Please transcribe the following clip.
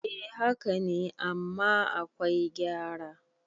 eh haka ne amma akwai gyara